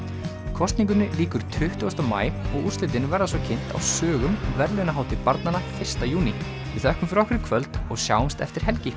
kosningunni lýkur tuttugasta maí og úrslitin verða svo kynnt á sögum verðlaunahátíð barnanna fyrsta júní við þökkum fyrir okkur í kvöld og sjáumst eftir helgi